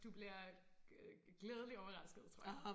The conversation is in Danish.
Du bliver glædeligt overrasket tror jeg